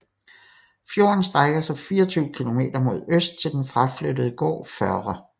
Fjorden strækker sig 24 km mod øst til den fraflyttede gård Førre